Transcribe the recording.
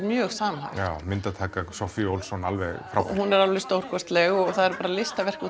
mjög samhæft já myndataka Soffíu Olsson alveg frábær hún er alveg stórkostleg og það eru bara listaverk